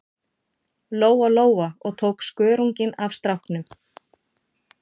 Lóa-Lóa og tók skörunginn af stráknum.